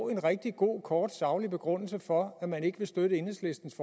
en rigtig god kort saglig begrundelse for at man ikke vil støtte enhedslistens